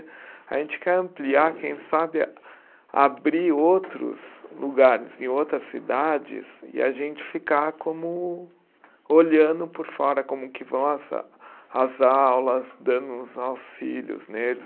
A gente quer ampliar, quem sabe, a abrir outros lugares em outras cidades e a gente ficar como, olhando por fora como que vão as a, as aulas, dando os auxílios neles.